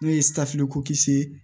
N'o ye ye